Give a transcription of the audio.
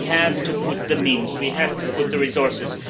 But we have to put in the means, we have to put in the resources.